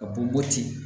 Ka bɔ bɔ ten